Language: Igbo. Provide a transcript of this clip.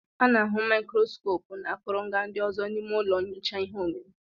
A na-ahụ màikròskopú na akụrụngwa ndị ọzọ n'ime ụlọ nyocha ihe omimi